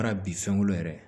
Baara bi fɛn kolo yɛrɛ